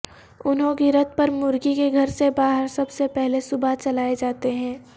انہوں گرت پر مرگی کے گھر سے باہر سب سے پہلے صبح چلائے جاتے ہیں